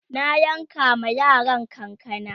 na yanka ma yaran kanakana